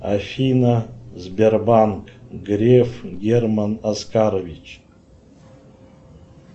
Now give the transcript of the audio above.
афина сбербанк греф герман оскарович